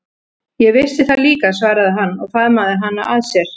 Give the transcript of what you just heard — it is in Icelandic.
Ég vissi það líka, svaraði hann og faðmaði hana að sér.